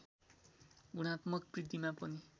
गुणात्मक बृद्धिमा पनि